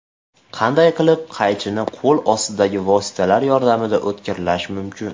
Qanday qilib qaychini qo‘l ostidagi vositalar yordamida o‘tkirlash mumkin?.